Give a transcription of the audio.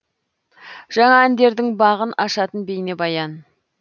жаңа әндердің бағын ашатын бейнебаян